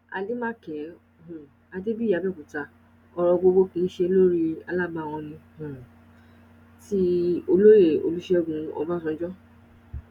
àdèmàkè um adébíyì abẹ́òkúta ọ̀rọ̀ gbogbo kì í ṣe lórí alábàhùn ní um ti olóyè olúṣègùn ọbásanjọ́